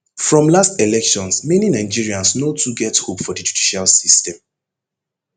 from last elections many nigerians no too get hope for di judicial system